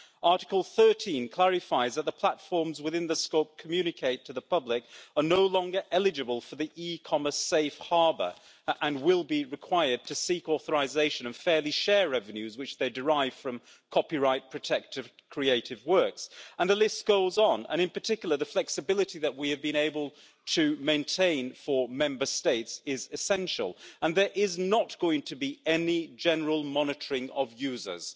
Article 13 clarifies that the platforms within the scope communicatation to the public' are no longer eligible for the e commerce safe harbour and will be required to seek authorisation and fairly share revenues which they derive from copyright protected creative works. And the list goes on, and in particular the flexibility that we have been able to maintain for Member States is essential and there is not going to be any general monitoring of users.